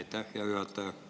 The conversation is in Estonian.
Aitäh, hea juhataja!